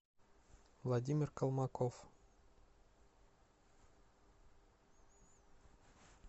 владимир колмаков